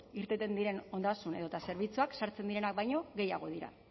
irteten diren ondasun edota zerbitzuak sartzen direnak baino gehiago dira